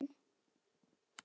Hver flís skorðuð og hrein.